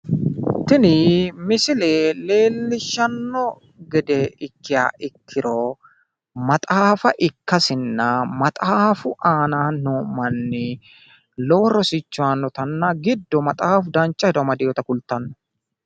Tini misile leellishshanno gede ikkiha ikkiro maxaafa ikkasinna maxaafu aana noo manni lowo rosicho aannotanna giddo maxaafu dancha hedo amadinota kultanno.